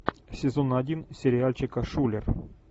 сезон один сериальчика шулер